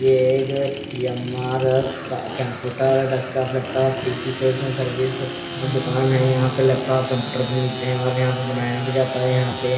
ये एक computer desktop laptop P_ C sales and services की दुकान है यहाँ पर लैपटॉप कंप्यूटर भी मिलते है और यहाँ पर बनाया भी जाता है यहाँ पे--